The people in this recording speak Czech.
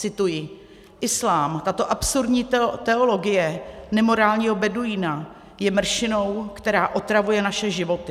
Cituji: "Islám, tato absurdní teologie nemorálního beduína, je mršinou, která otravuje naše životy."